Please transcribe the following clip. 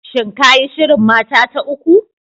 Shin ka yi shirin mata ta uku?